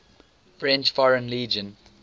french foreign legion